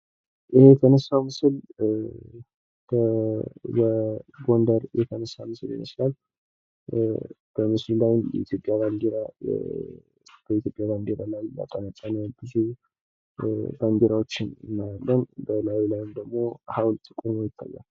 ይህ የተነሳው ምስል በጎንደር የተነሳ ምስል ይመስላል። በምስሉ ላይም የኢትዮጵያ ባዲራ በኢትዮጵያ ባዲራ የተጠመጠመ ብዙ ባዲራዎችን እናያለን። በላዩ ላይም ደሞ ሀውልት ቆሞ ይታያል።